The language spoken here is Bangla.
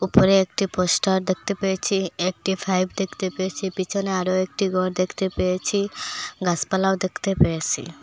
উপরে একটি পোস্টার দেখতে পেয়েছি একটি ফাইপ দেখতে পেয়েছি পিছনে আরও একটি ঘর দেখতে পেয়েছি গাছপালাও দেখতে পেয়েসি।